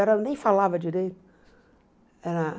Era eu nem falava direito ah.